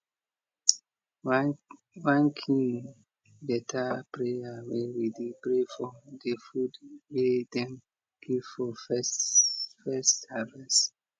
one kin beta prayer wey we dey pray for de food wey dem give for first first harvest